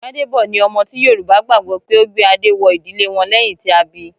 Gbàdèbọ̀ ni ọmọ ti Yorùbá gbagbọ pe o gbé adé wọ ìdílé wọn lẹyìn tí a bí.